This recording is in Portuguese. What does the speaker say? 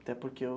Até porque o.